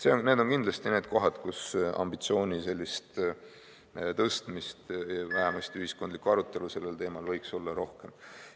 Need on kindlasti need kohad, kus ambitsiooni sellist tõstmist, vähemasti ühiskondlikku arutelu sellel teemal, võiks olla rohkem.